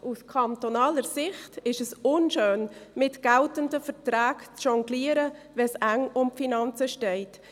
Aus kantonaler Sicht ist es unschön, mit geltenden Verträgen zu jonglieren, wenn es um die Finanzen eng steht.